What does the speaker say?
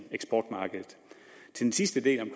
eksportmarkedet til den sidste del om